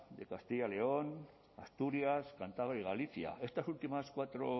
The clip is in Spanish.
de castilla y león asturias cantabria y galicia estas últimas cuatro